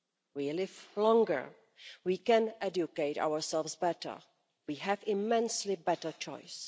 We live longer, we can educate ourselves better, and we have immensely better choice.